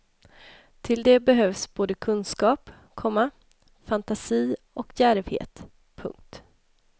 Till det behövs både kunskap, komma fantasi och djärvhet. punkt